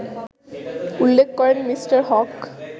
উল্লেখ করেন মি: হক